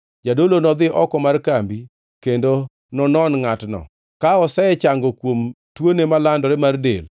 Jadolo nodhi oko mar kambi kendo nonon ngʼatno. Ka osechango kuom tuone malandore mar del,